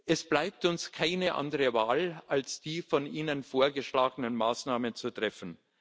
Es bleibt uns keine andere Wahl, als die von Ihnen vorgeschlagenen Maßnahmen zu treffen.